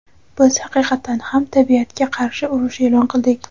Biz haqiqatan ham tabiatga qarshi urush e’lon qildik.